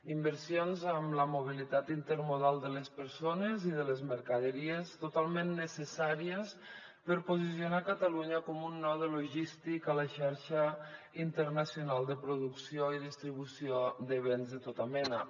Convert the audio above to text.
inversions en la mobilitat intermodal de les persones i de les mercaderies totalment necessàries per posicionar catalunya com un node logístic a la xarxa internacional de producció i distribució de béns de tota mena